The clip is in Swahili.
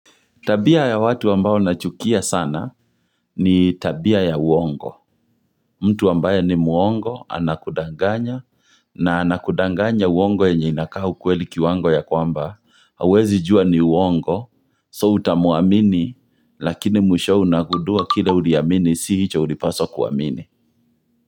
Tabia ya watu ambao nachukia sana ni tabia ya uongo. Mtu ambaye ni muongo, anakudanganya, na anakudanganya uongo yenye inakaa ukweli kiwango ya kwamba, hauwezi jua ni uongo, so utamwaamini, lakini mwishowe unagundua kile uriamini, si hicho ulipaswa kuamini.